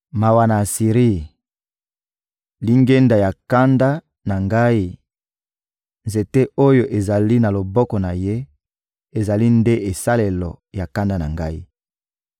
Mawa na Asiri, lingenda ya kanda na Ngai; nzete oyo ezali na loboko na ye ezali nde esalelo ya kanda na Ngai!